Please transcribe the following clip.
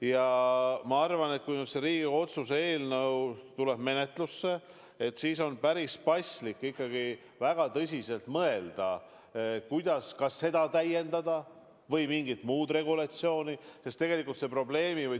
Ja ma arvan, et kui Riigikogu otsuse eelnõu tuleb menetlusse, siis on päris paslik väga tõsiselt mõelda, kuidas ja kas üldse seda või mingit muud regulatsiooni täiendada.